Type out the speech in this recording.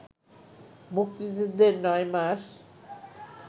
মুক্তিযুদ্ধের নয় মাস